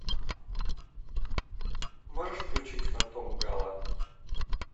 можешь включить фантом гало